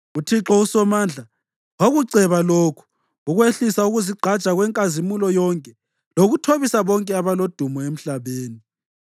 UThixo uSomandla wakuceba lokhu, ukwehlisa ukuzigqaja kwenkazimulo yonke lokuthobisa bonke abalodumo emhlabeni.